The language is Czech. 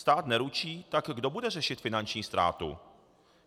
Stát neručí, tak kdo bude řešit finanční ztrátu?